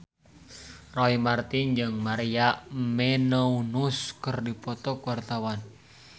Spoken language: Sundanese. Roy Marten jeung Maria Menounos keur dipoto ku wartawan